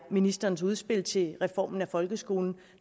ministerens udspil til reformen af folkeskolen